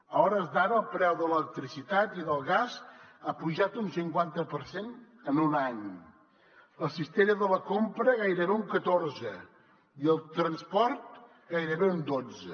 a hores d’ara el preu de l’electricitat i del gas ha pujat un cinquanta per cent en un any la cistella de la compra gairebé un catorze i el transport gairebé un dotze